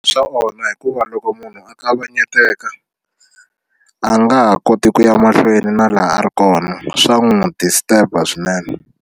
Swa onha hikuva loko munhu a kavanyeteka a nga ha koti ku ya mahlweni na laha a ri kona swa n'wi disturber swinene.